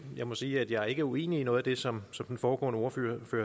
jeg må sige at jeg ikke er uenig i noget af det som den foregående ordfører